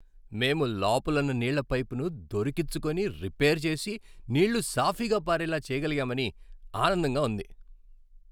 మేము లోపలున్న నీళ్ళ పైపును దొరికిచ్చుకొని, రిపేర్ చేసి, నీళ్ళు సాఫీగా పారేలా చేయగలిగామని ఆనందంగా ఉంది.